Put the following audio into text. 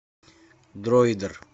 дроидер